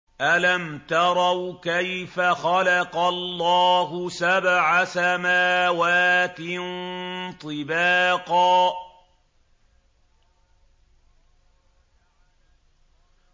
أَلَمْ تَرَوْا كَيْفَ خَلَقَ اللَّهُ سَبْعَ سَمَاوَاتٍ طِبَاقًا